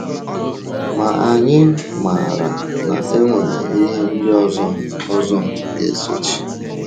Ma anyị maara na e nwere ihe ndị ọzọ ọzọ ga-esochi.